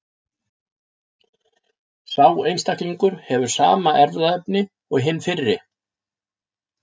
Sá einstaklingur hefur sama erfðaefni og hinn fyrri.